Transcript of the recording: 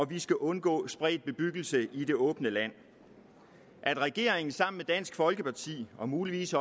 vi skal undgå spredt bebyggelse i det åbne land at regeringen sammen dansk folkeparti og muligvis